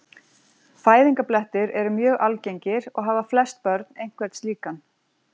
Fæðingarblettir eru mjög algengir og hafa flest börn einhvern slíkan.